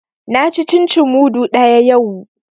Na ci cin cin mudu ɗaya yau